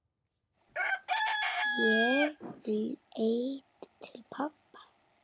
Ég leit til pabba.